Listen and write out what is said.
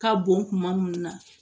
Ka bɔn kuma minnu na